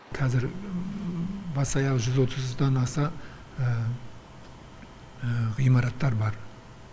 қазір бас аяғы жүз отыздан аса ғимараттар бар